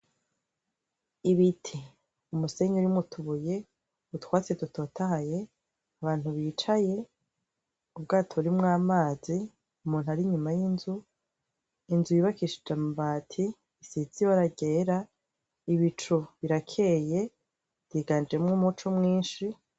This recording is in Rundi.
Ibiti umusenyi urimwo utubuye utwatsi dutotahaye abantu bicaye ubwato burimwo amazi umuntu ari inyuma y'inzu inzu yubakishije amabati asize ibara ryera ibicu birakeye riganjemwo umuco mwinshi.